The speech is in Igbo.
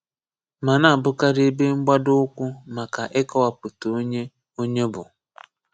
Ma nābụ́kàrí ebe mgbádò ụ́kwù maka ikọ̀wapụta onye onye bụ́.